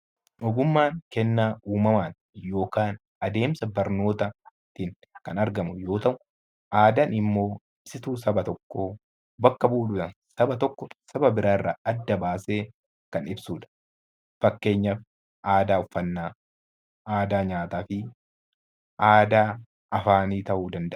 Ogummaan kennaa uumamaati yookaan adeemsa barnoota ittiin kan argamu yoo ta'u, aadaan immoo ibsituu saba tokkoo bakka bu'uudhaan saba tokko saba biraarraa adda baasee kan ibsudha. Fakkeenyaaf aadaa uffannaa, aadaa nyaataa fi aadaa afaanii ta'uu danda'a.